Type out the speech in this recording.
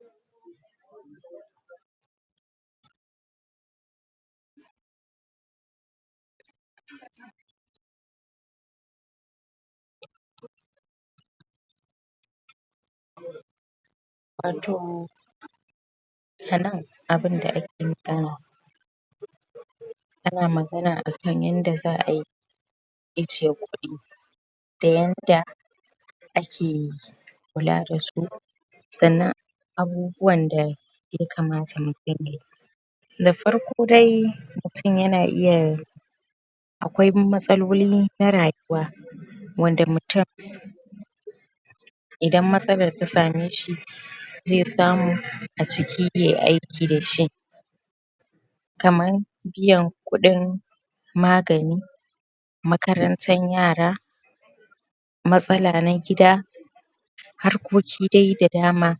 um wato a nan abun da ake magana ana magana akan yanda za'ayi ajiye kuɗi da yanda ake kula dasu sannan abubuwan da yakamata mu dinga yi na farko dai mutum yana iya akwai matsaloli na rayuwa wanda mutum idan matsalan ta same shi zai samu a ciki yayi aiki dashi kaman biyan kudin magani makarantan yara matsala na gida harkoki dai da dama